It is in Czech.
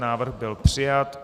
Návrh byl přijat.